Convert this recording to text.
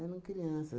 Eram criança